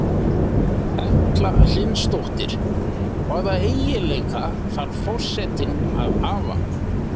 Erla Hlynsdóttir: Hvaða eiginleika þarf forsetinn að hafa?